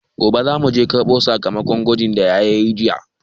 Gobe zamu je karɓo sakamakon gwajin da yayana yayi jiya.